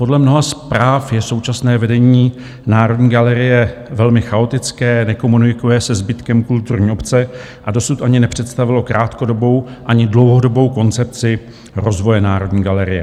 Podle mnoha zpráv je současné vedení Národní galerie velmi chaotické, nekomunikuje se zbytkem kulturní obce a dosud ani nepředstavilo krátkodobou ani dlouhodobou koncepci rozvoje Národní galerie.